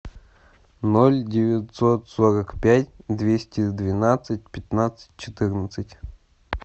ноль девятьсот сорок пять двести двенадцать пятнадцать четырнадцать